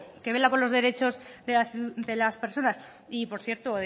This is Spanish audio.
que vela por los derechos de las personas y por cierto